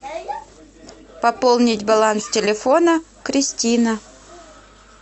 пополнить баланс телефона кристина